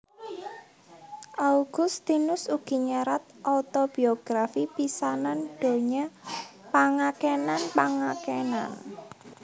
Augustinus ugi nyerat otobiografi pisanan donya Pangakenan pangakenan